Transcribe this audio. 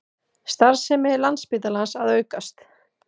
Starfsemi Landspítalans að aukast